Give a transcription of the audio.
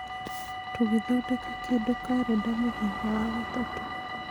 tũgĩthondeka kĩndũ karenda mũthenya wa gatatũ.